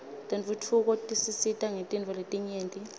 tentfutfuko tisisita ngetintfo letinyenti